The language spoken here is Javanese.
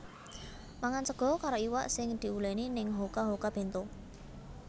Mangan sego karo iwak sing diuleni ning Hoka Hoka Bento